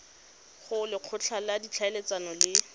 go lekgotla la ditlhaeletsano le